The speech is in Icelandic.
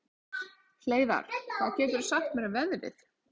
Hleiðar, hvað geturðu sagt mér um veðrið?